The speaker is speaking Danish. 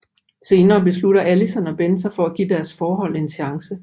Senere beslutter Allison og Ben sig for at give deres forhold en chance